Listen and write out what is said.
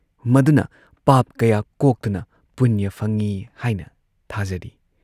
ꯃꯗꯨꯅ ꯄꯥꯞ ꯀꯌꯥ ꯀꯣꯛꯇꯨꯅ ꯄꯨꯅ꯭ꯌ ꯐꯪꯏ ꯍꯥꯏꯅ ꯊꯥꯖꯔꯤ ꯫